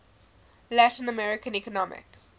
latin american economic